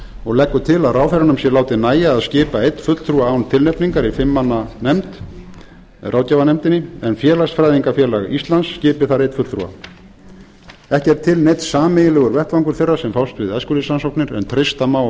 og leggur til að ráðherranum sé látið nægja að skipa einn fulltrúa án tilnefningar í fimm manna nefnd ráðgjafanefndinni en félagsfræðingafélag íslands skipi þar einn fulltrúa ekki er til neinn sameiginlegur vettvangur þeirra sem fást við æskulýðsrannsóknir en treysta má